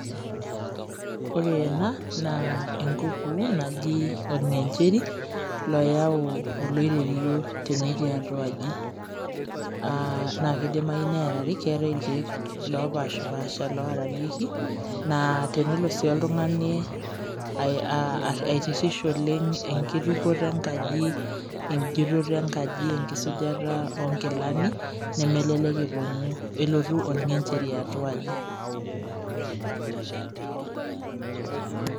Ore ena, naa enkukuu naji orng'encheri, loyau oloiterio tenetii atua aji. Na kidimayu neerari, keetae irkeek lopashipasha lorarieki, naa tenelo si oltung'ani aitirrish oleng' enkitukoto enkaji, ejutoto enkaji, enkisujata onkilani, nemelelek eponu elotu orng'encheri atua aji.